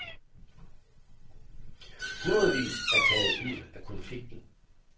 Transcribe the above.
Hundredvis er taget ud af konflikten.